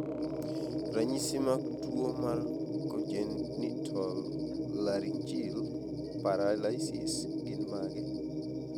Ranyisi mag tuwo mar congenital laryngeal paralysis gin mage?